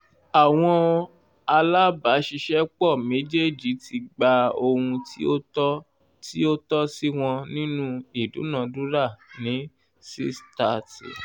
àwọn alábàáṣiṣẹ́pọ̀ méjèèjì ti gba ohun tí ó tọ́ tí ó tọ́ sí wọn nínu ìdúnadúrà ní (6/30)